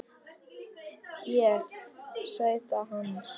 Ég: Sæta hans.